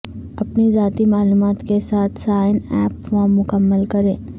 اپنی ذاتی معلومات کے ساتھ سائن اپ فارم مکمل کریں